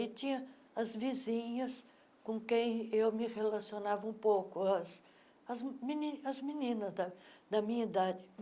E tinha as vizinhas com quem eu me relacionava um pouco, as as meni as meninas da da minha idade.